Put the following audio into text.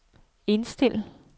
indstil